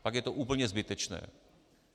Pak je to úplně zbytečné.